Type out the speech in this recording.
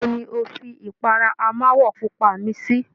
Ibo ni o fi ipara amáwọ̀ pupa mi sí?